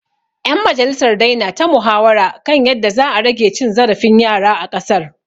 ‘Yan majalisar dai na ta muhawara kan yadda za a rage cin zarafin yara a ƙasar.